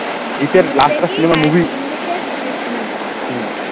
english এর Disney movie দেখি